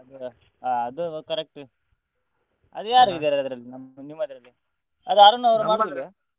ಹೌದಾ ಅದು correct ಅದು ಯಾರಿದ್ದಾರೆ ನಮ್ಮ್~ ನಿಮ್ಮದ್ರಲ್ಲಿ ಅದು ಅರುಣ್ ಅವರು ಮಾಡ್ತಿದ್ರಾ?